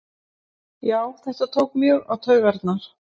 Já þetta tók mjög á taugarnar